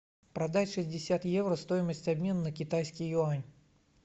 продать шестьдесят евро стоимость обмена на китайский юань